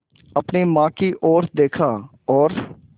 अपनी माँ की ओर देखा और